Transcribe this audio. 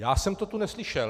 Já jsem to tu neslyšel.